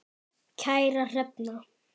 Kæra Hrefna